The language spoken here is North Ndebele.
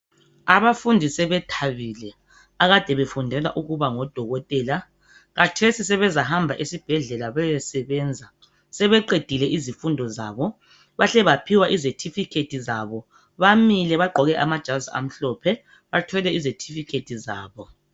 Abafundi sebethabile akade befundela ukuba ngodokotela. Khatesi sebezahamba esibhedlela bayesebenza. Sebeqedile izifundo zabo bahle baphiwa izethifikhethi zabo. Bamile bagqoke amajazi amhlophe bathwele izethifikhethi zabo.